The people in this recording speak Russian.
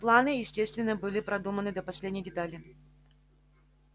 планы естественно были продуманы до последней детали